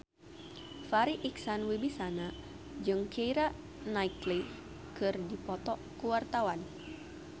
Farri Icksan Wibisana jeung Keira Knightley keur dipoto ku wartawan